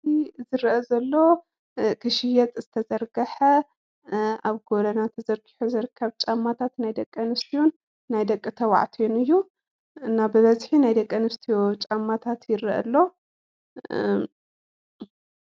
እዙይ ዝርአ ዘሎ ክሽየጥ ዝተዘርገሐ ኣብ ጎደና ተዘርጊሑ ዝርከብ ጫማታት ናይ ደቂ ኣንስትዮን ናይ ደቂ ተባዕትዮን እዩ። እና ብበዝሒ ናይ ደቂ ኣንስትዮ ጫማታት ይርኣይ ኣሎ::